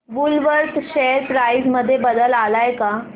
Woolworth share price मध्ये बदल आलाय का